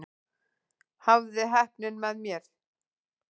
Hafði heppnina með mér